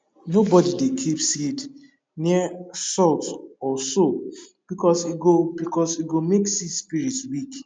nobody dey keep seed near salt or soap because e go because e go make seed spirit weak